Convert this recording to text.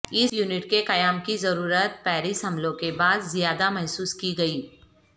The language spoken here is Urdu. اس یونٹ کے قیام کی ضرورت پیرس حملوں کے بعد زیادہ محسوس کی گئی